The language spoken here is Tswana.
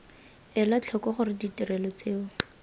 ela tlhoko gore ditirelo tseo